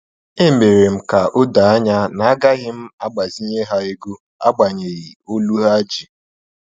E mere m ka odo anya na agaghị m agbazinye ha ego, agbanyeghi olu ha ji